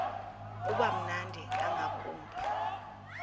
uba mnandi ngakumbi